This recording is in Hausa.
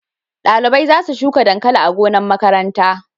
Dalibai za su shuka dankali a gonan makaranta